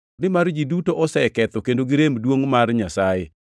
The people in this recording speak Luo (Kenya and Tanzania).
nimar ji duto oseketho kendo girem kuom duongʼ mar Nyasaye,